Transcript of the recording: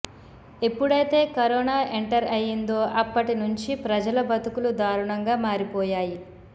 ఎప్పుడైతే corona enter అయ్యిందో అప్పటి నుంచి ప్రజల బతుకులు దారుణంగా మారిపోయాయి